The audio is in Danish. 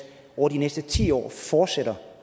over de næste ti år fortsætter